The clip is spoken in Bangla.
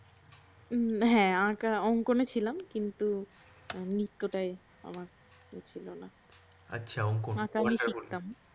হ্যা আঁকা মানে আঙ্কনে ছিলাম কিন্তু নৃত্যটায় আমার ইয়ে ছিল না আঁকা আমি শিখতাম